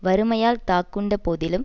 வறுமையால் தாக்குண்ட போதிலும்